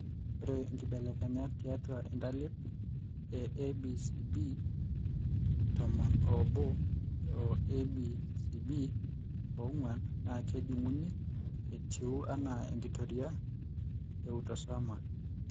Ore inkibelekenyat tiatua intalip eABCBtomon oobo o ABCBong'uan naa kejung'uni etiu anaa enkitoria eautosomal.